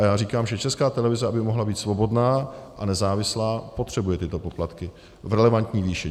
A já říkám, že Česká televize, aby mohla být svobodná a nezávislá, potřebuje tyto poplatky v relevantní výši.